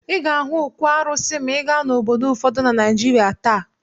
Ị ga-ahụ òkwù arụsị maa ị gaa obodo ụfọdụ na Naịjịrịa taa.